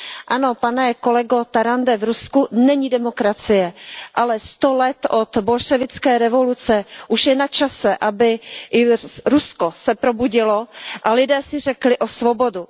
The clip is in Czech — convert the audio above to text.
Ano, pane kolego Tarande, v Rusku není demokracie, ale sto let od bolševické revoluce už je načase, aby se Rusko probudilo a lidé si řekli o svobodu.